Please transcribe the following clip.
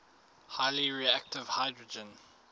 highly reactive hydrogen